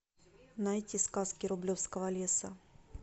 найти сказки рублевского леса